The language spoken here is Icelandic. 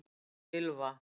Ylfa